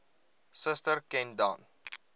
suster ken dan